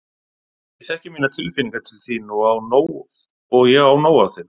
Ég þekki mínar tilfinningar til þín og ég á nóg af þeim.